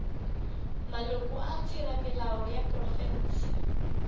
maloko a theramelao ya profense